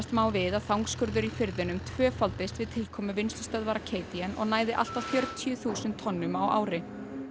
má við að þangskurður í firðinum tvöfaldist við tilkomu vinnslustöðvar og næði allt að fjörutíu þúsund tonnum á ári